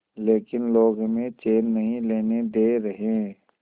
लेकिन लोग हमें चैन नहीं लेने दे रहे